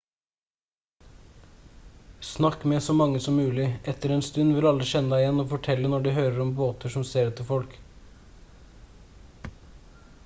snakk med så mange som mulig etter en stund vil alle kjenne deg igjen og fortelle når de hører om båter som ser etter folk